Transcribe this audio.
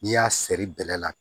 N'i y'a sɛri bɛlɛ la